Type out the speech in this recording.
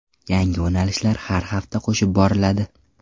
Yangi yo‘nalishlar har hafta qo‘shib boriladi.